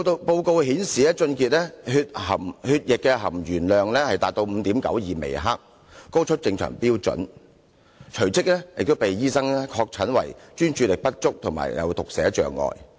報告顯示他的血液含鉛量達到 5.92 微克，高出正常標準，隨即被醫生確診為專注力不足及讀寫阻礙。